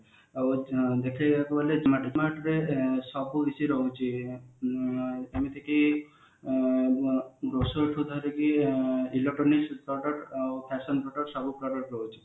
ଆଉ ଦେଖିବାକୁ ଗଲେ ସବୁ କିଛି ରହୁଛି ଆଁ ଏମିତିକି ଆଁ grocery ଠୁ ଧରିକି ଆଁ electronics product ଆଉ fashion product ସବୁ verity ରହୁଛି